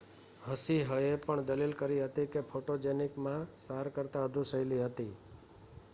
હસિહએ પણ દલીલ કરી હતી કે ફોટોજેનિક મા સાર કરતાં વધુ શૈલી હતી